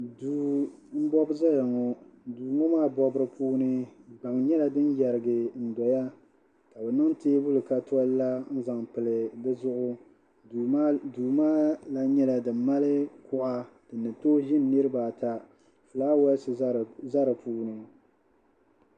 Duu m-bɔbi zaya ŋɔ duu ŋɔ maabɔbiri puuni gbaŋ nyɛla din yɛridɔya ka bɛ niŋ teebuli ka toli la n-zaŋ pili di zuɣu duu maa lan nyɛla din mali kuɣa din ni tooi ʒini niriba ata fulaawaasi za di puuni.